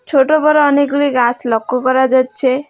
ছোটো বড়ো অনেকগুলি গাছ লক্ষ্য করা যাচ্ছে।